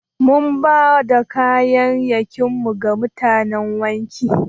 Mun bada kaya'yakin mu ga mutanan wanki.